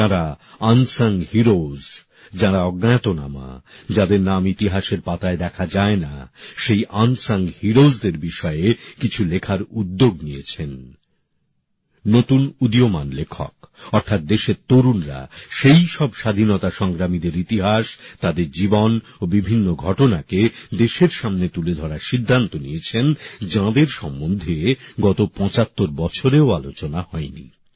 যাঁরা অজানা নায়ক নায়িকা যাঁরা অজ্ঞাতনামা যাদের নাম ইতিহাসের পাতায় দেখা যায় না সেই অজানা নায়ক নায়িকাদের বিষয়ে কিছু লেখার উদ্যোগ নিয়েছেন নতুন উদীয়মান লেখক অর্থাৎ দেশের তরুণ তরুণীরা সেইসব স্বাধীনতা সংগ্রামীদের ইতিহাস তাদের জীবন ও বিভিন্ন ঘটনাকে দেশের সামনে তুলে ধরার সিদ্ধান্ত নিয়েছেন যাঁদের সম্বন্ধে গত ৭৫ বছরেও আলোচনা হয়নি